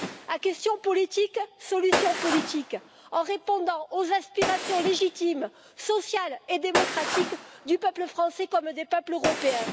À question politique, solution politique, en répondant aux aspirations légitimes, sociales et démocratiques du peuple français comme des peuples européens.